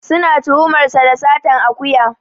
Suna tuhumar sa da satar akuya.